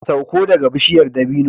Sauko daga bishiyar dabino